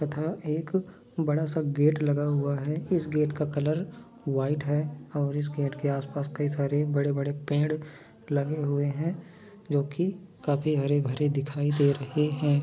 तथा एक बड़ा सा गेट लगा हुआ है इस गेट का कलर व्हाइट है और इस गेट के आसपास कई सारे बड़े बड़े पेड़ लगे हुए है जोकि काफी हरेभरे दिखाई दे रहे है।